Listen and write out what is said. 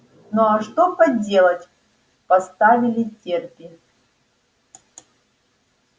ну а что поделать поставили терпи